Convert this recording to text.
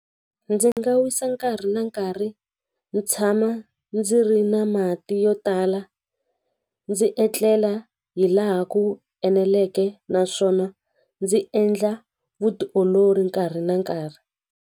Ndzi nga wisa nkarhi na nkarhi ni tshama ndzi ri na mati yo tala ndzi etlela hi laha ku eneleke naswona ndzi endla vutiolori nkarhi na nkarhi.